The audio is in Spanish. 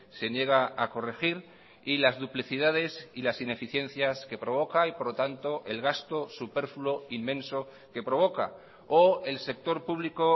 se niega a corregir y las duplicidades y las ineficiencias que provoca y por lo tanto el gasto superfluo inmenso que provoca o el sector público